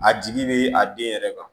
A jigi bɛ a den yɛrɛ kan